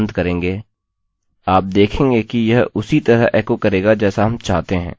लेकिन यदि आप एक स्ट्रिंग की शुरुआत में nl2br लिख रहे हैं और हम यहाँ पर कोष्ठक का अंत करेंगे